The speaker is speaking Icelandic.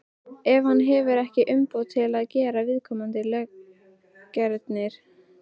ef hann hefur ekki umboð til að gera viðkomandi löggerning.